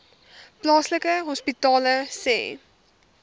plaaslike hospitale sê